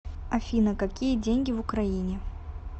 афина какие деньги в украине